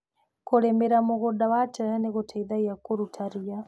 Kũrĩmĩra mũgũnda wa terere nĩ gũteithagia kũruta ria.